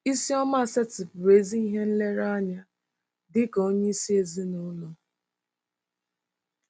Isioma setịpụrụ ezi ihe nlereanya dị ka onyeisi ezinụlọ